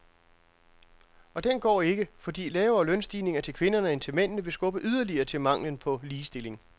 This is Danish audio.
Og den går ikke, fordi lavere lønstigninger til kvinderne end til mændene vil skubbe yderligere til manglen på ligestilling.